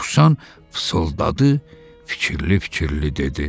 Dovşan fısıldadı, fikirli-fikirli dedi.